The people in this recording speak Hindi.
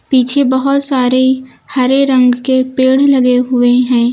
पीछे बहुत सारे हरे रंग के पेड़ लगे हुए हैं।